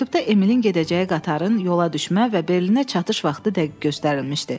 Məktubda Emilin gedəcəyi qatarın yola düşmə və Berlinə çatış vaxtı dəqiq göstərilmişdi.